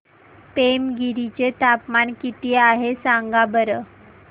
पेमगिरी चे तापमान किती आहे सांगा बरं